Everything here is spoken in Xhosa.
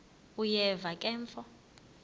uyeva ke mfo